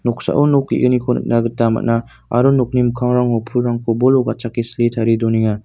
noksao nok ge·gniko nikna gita man·a aro nokni mikangrangko pulrangko bolo gatchake sile tarie donenga.